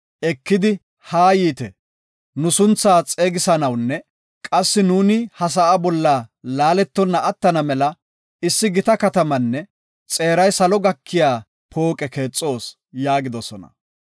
ekidi, “Haa yiite, nu sunthaa xeegisanawunne qassi nuuni ha sa7a bolla laaletonna attana mela issi gita katamaanne xeeray salo gakiya pooqe keexoos” yaagidosona.